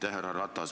Härra Ratas!